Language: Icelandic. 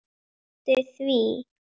Hún játti því.